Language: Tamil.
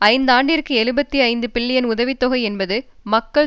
ஐந்து ஆண்டுகளுக்கு எழுபத்தி ஐந்து பில்லியன் உதவி தொகை என்பது மக்கள்